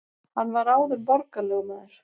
Hann var áður borgarlögmaður